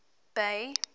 bay